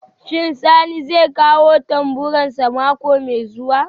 Shin Sani zai kawo tamburansa mako mai zuwa?